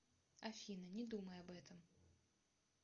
афина не думай об этом